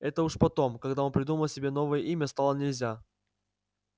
это уж потом когда он придумал себе новое имя стало нельзя